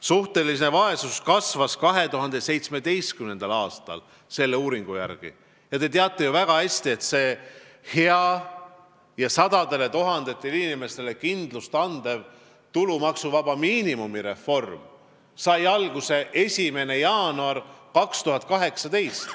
Suhteline vaesus kasvas selle uuringu järgi 2017. aastal ja te teate ju väga hästi, et see hea, sadadele tuhandetele inimestele kindlust andev tulumaksuvaba miinimumi reform sai alguse 1. jaanuaril 2018.